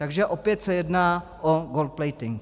Takže opět se jedná o gold-plating.